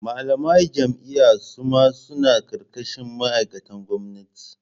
Malamai jami'a suma suna karkashin ma'aikatan gwamnati.